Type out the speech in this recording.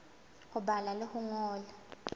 ho bala le ho ngola